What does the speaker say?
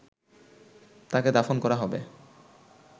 তাকে দাফন করা হবে